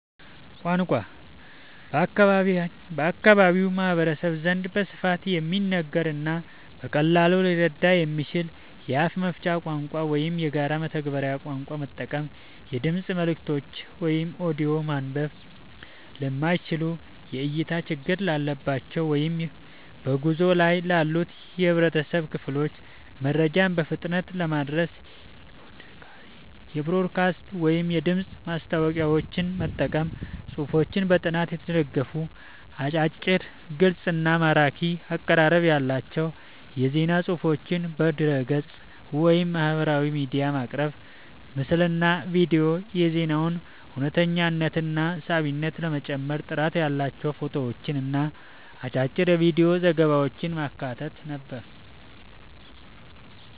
ቋንቋ፦ በአካባቢው ማህበረሰብ ዘንድ በስፋት የሚነገርንና በቀላሉ ሊረዳ የሚችልን የአፍ መፍቻ ቋንቋ ወይም የጋራ መግባቢያ ቋንቋ መጠቀም። የድምፅ መልእክቶች (ኦዲዮ)፦ ማንበብ ለማይችሉ፣ የእይታ ችግር ላለባቸው ወይም በጉዞ ላይ ላሉ የህብረተሰብ ክፍሎች መረጃን በፍጥነት ለማድረስ የፖድካስት ወይም የድምፅ ማስታወቂያዎችን መጠቀም። ጽሁፎች፦ በጥናት የተደገፉ፣ አጫጭር፣ ግልጽ እና ማራኪ አቀራረብ ያላቸው የዜና ፅሁፎችን በድረ-ገጽ፣ ወይም በማህበራዊ ሚዲያ ማቅረብ። ምስልና ቪዲዮ፦ የዜናውን እውነተኝነትና ሳቢነት ለመጨመር ጥራት ያላቸው ፎቶዎችንና አጫጭር የቪዲዮ ዘገባዎችን ማካተት።